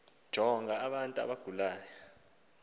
jonga abantu abagulayo